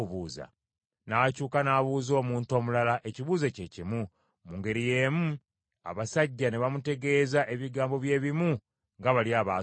N’akyuka n’abuuza omuntu omulala ekibuuzo kye kimu, mu ngeri y’emu abasajja ne bamutegeeza ebigambo bye bimu nga bali abaasoose.